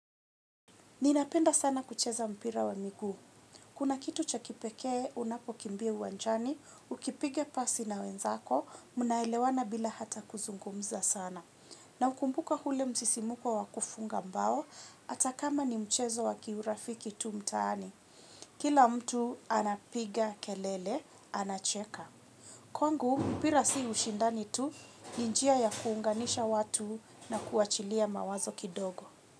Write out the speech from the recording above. Ninapenda sana kucheza mpira wa miguu. Kuna kitu chakipekee unapo kimbia uwanjani, ukipiga pasi na wenzako, munaelewana bila hata kuzungumza sana. Na ukumbuka hule msisimuko wakufunga mbao, atakama ni mchezo waki urafiki tu mtaani. Kila mtu anapiga kelele, anacheka. Kwa ngu mpira si ushindani tu, ninjia ya kuunganisha watu na kuachilia mawazo kidogo.